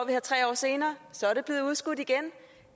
her tre år senere og så er det blevet udskudt igen